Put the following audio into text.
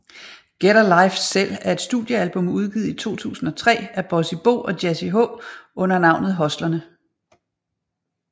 Get a Life Selv er et studiealbum udgivet i 2003 af Bossy Bo og Jazzy H under navnet Hustlerne